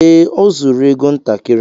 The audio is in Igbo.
Ee, o zuru égo ntakịrị